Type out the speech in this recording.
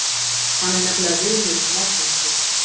Hann er nefnilega vinur Morkinskinnu.